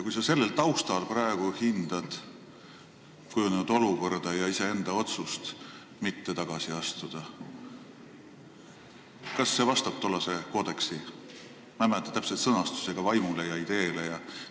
Kui sa sellel taustal praegu hindad kujunenud olukorda ja iseenda otsust mitte tagasi astuda, siis kas see vastab tollase koodeksi – ma ei mäleta selle täpset sõnastust – vaimule ja ideele?